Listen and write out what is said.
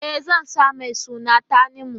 E, zan sa mai suna Tanimu.